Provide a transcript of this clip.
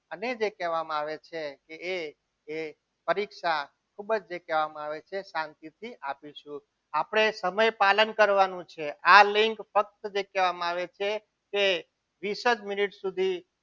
અને જે કહેવામાં આવે છે કે એ જે પરીક્ષા ખૂબ જ કહેવામાં આવે છે શાંતિથી આપીશું આપણે સમય પાલન કરવાનું છે. આ લીંક ફક્ત જે કહેવામાં આવે છે કે વિસર્ગ મિનિટ સુધી